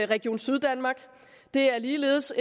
region syddanmark det er ligeledes